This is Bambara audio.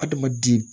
Adamaden